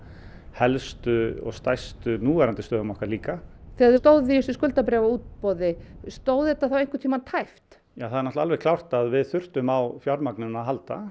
helstu og stærstu núverandi stöðum okkar líka þegar þið stóðuð í þessu skuldabréfaútboði stóð þetta þá einhvern tíma tæpt ja það er alveg klárt að við þurftum á fjármagninu að halda